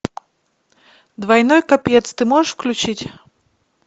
двойной копец ты можешь включить